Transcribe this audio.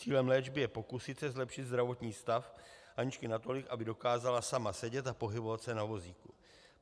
Cílem léčby je pokusit se zlepšit zdravotní stav Aničky natolik, aby dokázala sama sedět a pohybovat se na vozíku.